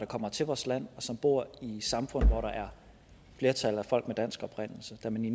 kommer til vores land og som bor i samfund hvor der er flertal af folk med dansk oprindelse da man i